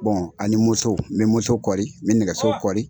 ani muso n bɛ muso kɔli n bɛ nɛgɛso kɔli.